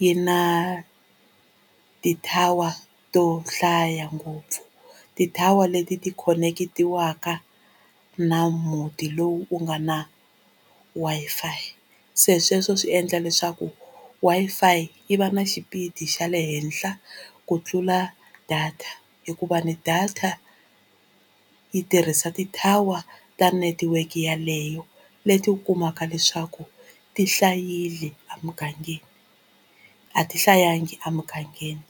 yi na ti-tower to hlaya ngopfu ti-tower leti ti khoneketiwaka na muti lowu wu nga na Wi-Fi se sweswo swi endla leswaku Wi-Fi yi va na xipidi xa le henhla ku tlula data hikuva ni data yi tirhisa a ti-tower ta network yaleyo leti u kumaka leswaku ti hlayile emugangeni a ti hlayangi emugangeni.